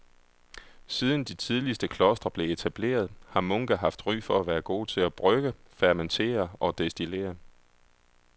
Siden de tidligste klostre blev etableret har munke haft ry for at være gode til at brygge, fermentere og destillere.